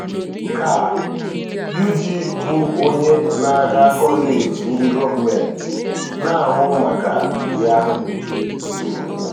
ka Yuji, bụ onye na-aga kọleji ndị gọọmenti na-ahụ maka ya, na-ekwu.